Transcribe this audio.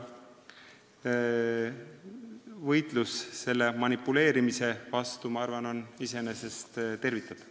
Võitlus sellise manipuleerimise vastu, ma arvan, on iseenesest tervitatav.